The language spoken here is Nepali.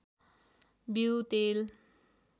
बिऊ तेल